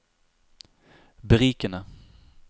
berikende